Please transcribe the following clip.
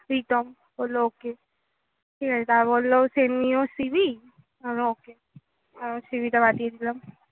প্রীতম বললো okay ঠিক আছে তারপর বললো send me your CV আমি বললাম okay আবার CV টা পাঠিয়ে দিলাম।